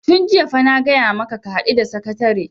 tun jiya fa na gaya maka ka haɗu da sakatare!